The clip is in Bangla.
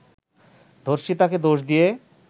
ধর্ষিতাকে দোষ দিয়ে